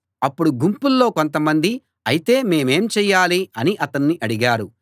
అప్పుడు గుంపులో కొంతమంది అయితే మేమేం చేయాలి అని అతన్ని అడిగారు